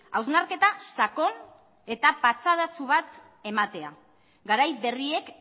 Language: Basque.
hausnarketa sakon eta patxadatsu bat ematea garai berriek